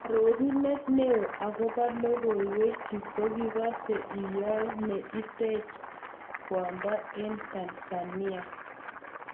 Arorunet neo okobo logoiwek chu kigose, eyoe ne itech kwondo eng Tanzania.